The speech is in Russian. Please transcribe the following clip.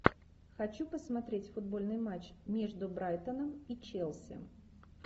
хочу посмотреть футбольный матч между брайтоном и челси